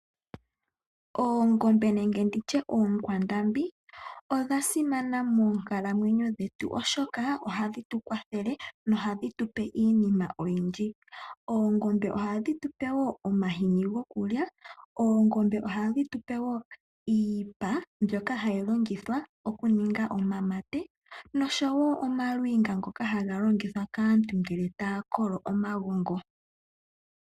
Oongombe nenge nditye oonkwandambi odha simana moonkalamwenyo dhetu oshoka ohadhi tu kwathele nohadhi tu pe iinima oyindji. Oongombe ohadhi tu pe wo omahini gokulya, oongombe ohadhi tu pe wo iipa mbyono hayi l